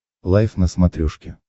лайф на смотрешке